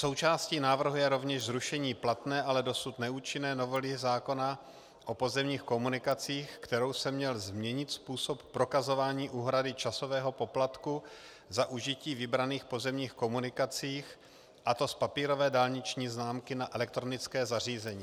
Součástí návrhu je rovněž zrušení platné, ale dosud neúčinné novely zákona o pozemních komunikacích, kterou se měl změnit způsob prokazování úhrady časového poplatku za užití vybraných pozemních komunikací, a to z papírové dálniční známky na elektronické zařízení.